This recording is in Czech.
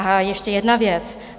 A ještě jedna věc.